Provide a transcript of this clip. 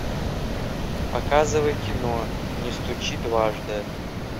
показывай кино не стучи дважды